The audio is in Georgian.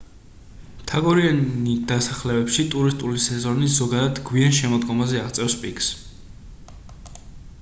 მთაგორიანი დასახლებებში ტურისტული სეზონი ზოგადად გვიან შემოდგომაზე აღწევს პიკს